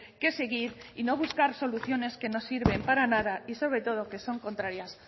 que seguir y no buscar soluciones que no sirven para nada y sobre todo que son contrarias